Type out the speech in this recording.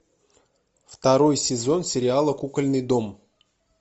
второй сезон сериала кукольный дом